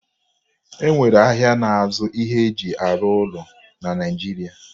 E nwere ahịa na-azụ ihe e ji arụ ụlọ na Naịjiria